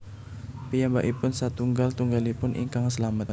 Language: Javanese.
Piyambakipun satunggal tunggalipun ingkang slamet